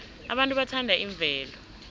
abantu bathanda imvelo